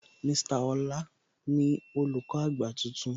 Mr Ọlá ni Olùkọ́ àgbà tuntun